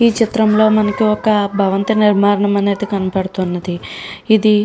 ఈ చిత్రంలో మనకు ఒక భవంతు నిర్మాణం అనేది కనబడుతోంది. ఏది --